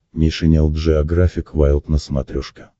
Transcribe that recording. нейшенел джеографик вайлд на смотрешке